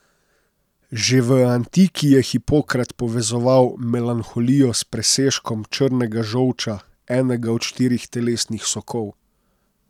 Že v antiki je Hipokrat povezoval melanholijo s presežkom črnega žolča, enega od štirih telesnih sokov.